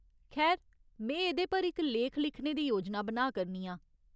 खैर, में एह्‌दे पर इक लेख लिखने दी योजना बना करनी आं।